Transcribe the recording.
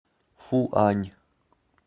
фуань